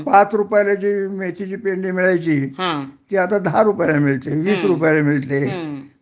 पाच रुपयाला जी मेथीची पेंडी मिळायची ती आता दहा रुपयाला मिळते, वीस रुपयाला मिळते